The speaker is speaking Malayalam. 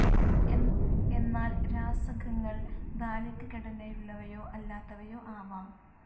എന്നാൽ രാസകങ്ങൾ ധാലികഘടനയുള്ളവയോ അല്ലാത്തവയോ ആവാം.